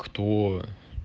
кто